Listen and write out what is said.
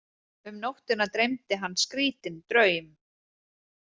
Um nóttina dreymdi hann skrítinn draum.